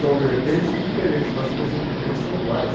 São vertentes diferentes, mas os procedimentos são iguais.